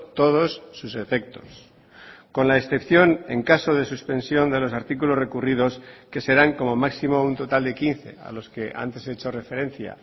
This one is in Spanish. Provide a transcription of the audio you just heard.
todos sus efectos con la excepción en caso de suspensión de los artículos recurridos que serán como máximo un total de quince a los que antes he hecho referencia